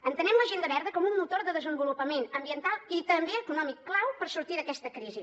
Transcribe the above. entenem l’agenda verda com un motor de desenvolupament ambiental i també econòmic clau per sortir d’aquesta crisi